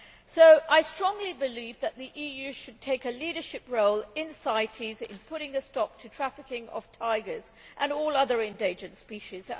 So I strongly believe that the EU should take a leadership role in CITES in putting a stop to the trafficking of tigers and all other endangered species